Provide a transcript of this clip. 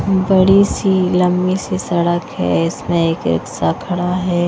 बड़ी सी लंबी सी सड़क है इसमें एक रिक्शा खड़ा है।